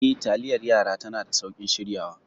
Eh, taliyar yara tana da sauƙin shiryawa.